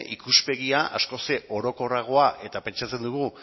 ikuspegia askoz ere orokorragoa eta pentsatzen dugu